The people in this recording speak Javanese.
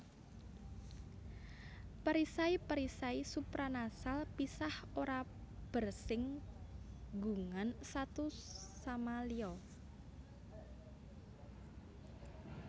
Perisai perisai supranasal pisah ora bersing gungan satu sama liya